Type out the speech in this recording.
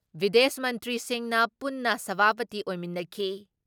ꯕꯤꯗꯦꯁ ꯃꯟꯇ꯭ꯔꯤꯁꯤꯡꯅ ꯄꯨꯟꯅ ꯁꯚꯥꯄꯇꯤ ꯑꯣꯏꯃꯤꯟꯅꯈꯤ ꯫